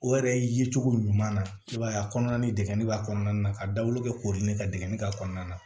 O yɛrɛ ye cogo ɲuman na i b'a ye a kɔnɔna ni degun b'a kɔnɔna na ka dawolo kɛ kori ne ka degeli ka kɔnɔna na